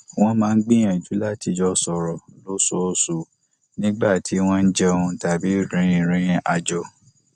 wọn máa ń gbìyànjú láti jọ sọrọ lóṣooṣù nígbà tí wọn jẹun tàbí rìnrìn àjò